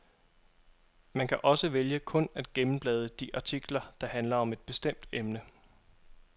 Man kan også vælge kun at gennemblade de artikler, der handler om et bestemt emne.